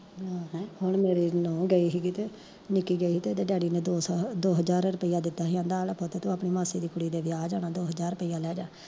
ਹੂੰ ਹੁਣ ਮੇਰੀ ਨਹੂੰ ਗਈ ਸੀ ਕਿਤੇ, ਨਿੱਕੀ ਕਹਿੰਦੀ ਓਦੇ ਡੈਡੀ ਨੇ ਦੋ ਸੌ ਦੋ ਹਜਾਰ ਰੁਪਈਆ ਦਿੱਤਾ ਆਂਦਾ ਆ ਲੈ ਪੁੱਤ ਤੂੰ ਆਪਣੀ ਮਾਸੀ ਦੀ ਕੁੜੀ ਦੇ ਵਿਆਹ ਜਾਣਾ ਦੋ ਹਜਾਰ ਰੁਪਈਆ ਲੈਜਾ